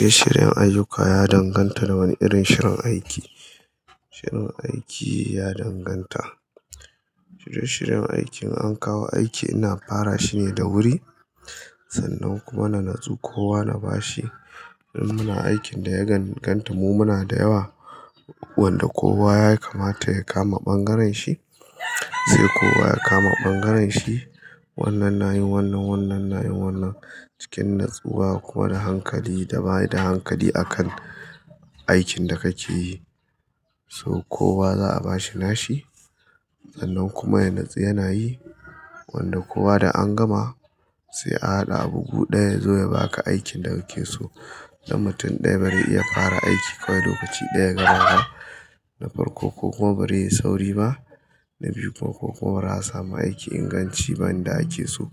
Shirye-shiryen aiyuka ya danganta da wane irin shirin aiki. Shirin aiki ya danganta. Shirye-shiryen aikin an kawo aiki ina fara shine da wuri, sannan kuma na natsu kowa na bashi. Idan muna aikin da ya ganganta mu muna da yawa, wanda kowa ya kamata ya kama bangaren shi, sai kowa ya kama bangaren shi. Wannan na yin wannan, wannan na yin wannan. Cikin natsuwa kuma da hankali da ba da hankali a kan aikin da kake yi. So kowa za'a bashi nashi, sannan kuma ya natsu yana yi. Wanda kowa da an gama sai a haɗa abu guɗaya ya zo ya baka aikin da kuke so. Dan mutum ɗaya barai iya fara aiki kawai lokaci ɗaya gaba ba, na farko kokuma barai yi sauri ba. Na biyu kokuma ba za a samu aiki inganci ba yanda ake so.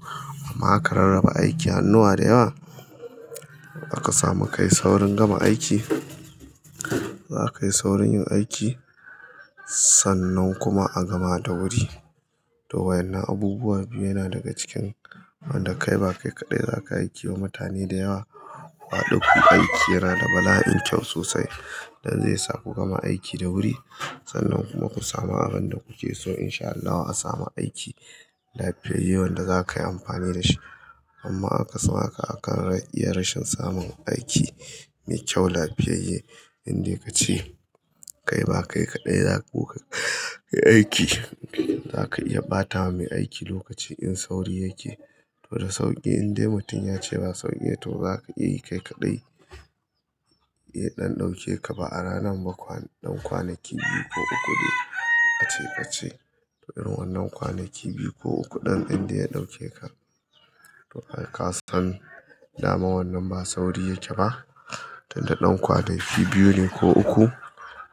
Amma aka rarraba aiki hannuwa da yawa, za ka samu ka yi saurin gama aiki. Za ka yi saurin yin aiki sannan kuma a gama da wuri. To wa ʼyanna abubuwan yana daga cikin wanda kai ba kai kaɗai za ka aiki wa mutane da yawa. Kuhaɗu kuyi aiki yana da bala'in kyau sosai don zai sa ku gama aiki da wuri sannan kuma ku samu abin da kuke so insha Allahu a samu aiki lafiyayye wanda za ka yi amfani da shi. Amma akasin haka akan iya rashin samun aiki mai kyau lafiyayye. Indai kace kai ba kai kaɗai za ku kai aiki, za ka iya ɓatawa mai aiki lokaci in sauri yake. To da sauƙi indai mutum ya ce baya sauri to za ka iya kai kaɗai. Eh, ɗan ɗauke ka ba'a ranar ba kwa, ɗan kwanaki biyu ko uku dai a ce ka ce. To irin wannan kwanaki biyu ko uku ɗin in dai ya ɗauke ka. To har ka san dama wannan ba sauri yake ba. Tunda ɗan kwanaki biyu ne ko uku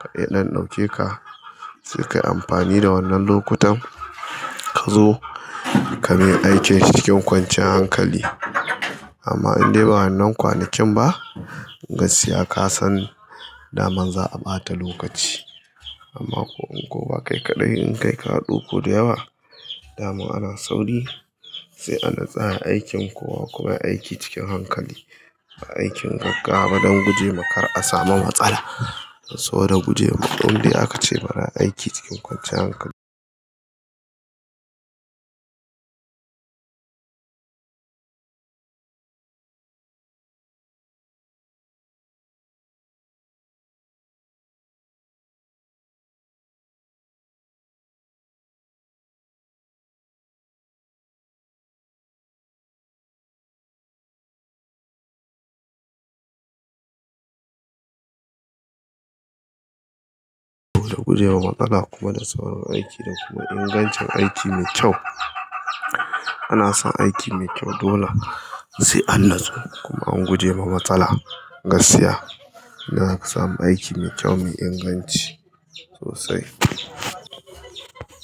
ka iya ɗan ɗauke ka sai ka yi amfani da wannan lokutan ka zo ka mai aikin shi cikin kwanciyar hankali. Amma indai ba wannan kwanakin ba, gaskiya ka san daman za'a ɓata lokaci. Amma ko in kowa kai kaɗai in kai ka haɗu ku da yawa, dama ana sauri sai anatsu ayi aikin kowa kuma ayi aiki cikin hankali. A aikin gaggawa don guje ma kar a samu matsala. Saboda guje wa ma indai akace bara ayi aiki cikin kwanciyar hankali da kuma ingancin aiki mai kyau. Ana son aiki mai kyau dole sai an natsu kuma an guje wa matsala. Gaskiya ina samun aiki mai kyau me inganci sosai.